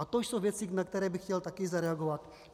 A to jsou věci, na které bych chtěl taky zareagovat.